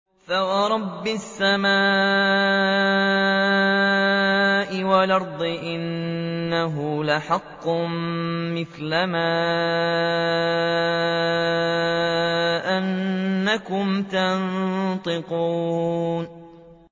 فَوَرَبِّ السَّمَاءِ وَالْأَرْضِ إِنَّهُ لَحَقٌّ مِّثْلَ مَا أَنَّكُمْ تَنطِقُونَ